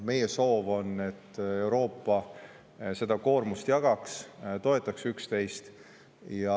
Meie soov on, et Euroopa seda koormust omavahel jagaks ja toetaks üksteist.